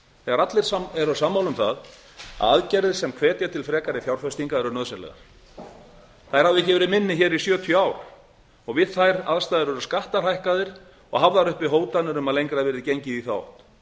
þegar allir eru sammála um það að aðgerðir sem hvetja til frekari fjárfestingar eru nauðsynlegar þær hafa ekki verið minni í sjötíu ár við þær aðstæður eru skattar hækkaðir og hafðar uppi hótanir um að lengra verði gengið í þá átt